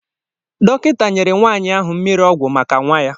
Dọkịta nyere nwanyi ahụ mmiri ọgwụ maka nwa ya